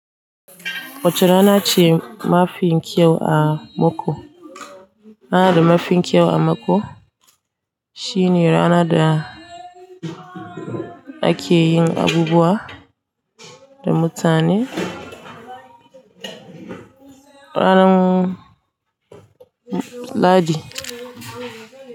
Wace rana ce mafi kyau a maku. Na da mafi kyau a maku. Shi ne ranar da ake yin abubuwa da mutane ranar Lahadi.